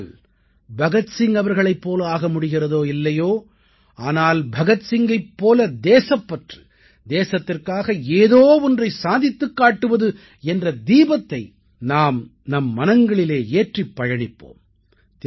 நம்மால் பகத் சிங் அவர்களைப் போல ஆக முடிகிறதோ இல்லையோ ஆனால் பகத்சிங்கினைப் போல தேசப்பற்று தேசத்திற்காக ஏதோ ஒன்றை சாதித்துக் காட்டுவது என்ற தீபத்தை நாம் நம் மனங்களிலே ஏற்றிப் பயணிப்போம்